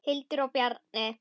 Hildur og Bjarni.